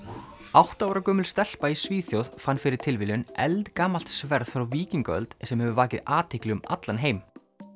átta ára gömul stelpa í Svíþjóð fann fyrir tilviljun eldgamalt sverð frá víkingaöld sem hefur vakið athygli um allan heim